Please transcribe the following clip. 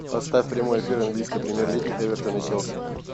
поставь прямой эфир английской премьер лиги эвертон и челси